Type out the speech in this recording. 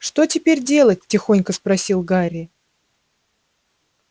что теперь делать тихонько спросил гарри